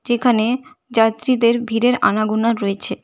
যেখানে যাত্রীদের ভিড়ের আনাগোনা রয়েছে।